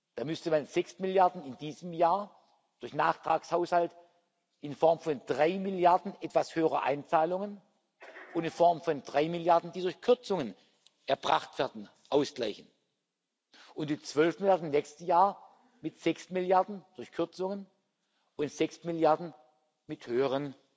Da müsste man sechs Milliarden in diesem Jahr durch einen Nachtragshaushalt in Form von drei Milliarden etwas höherer Einzahlungen und in Form von drei Milliarden, die durch Kürzungen erbracht werden, ausgleichen und die zwölf Milliarden im nächsten Jahr mit sechs Milliarden durch Kürzungen und sechs Milliarden mit höheren